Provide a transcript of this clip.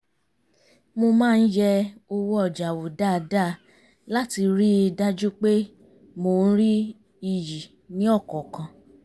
mo má ń yẹ owó ọjà wò dáadáa láti rí i dájú pé mò ń rí iyì ní ọ̀kọ̀ọ̀kan